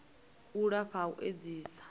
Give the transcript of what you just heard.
u lafha ha u edzisa